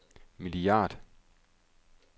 milliard